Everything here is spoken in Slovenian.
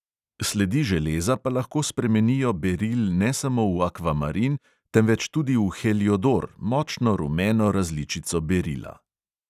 Sledi železa pa lahko spremenijo beril ne samo v akvamarin, temveč tudi v heliodor, močno rumeno različico berila.